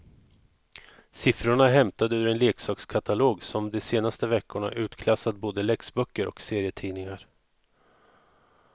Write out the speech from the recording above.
Siffrorna är hämtade ur en leksakskatalog som de senaste veckorna utklassat både läxböcker och serietidningar.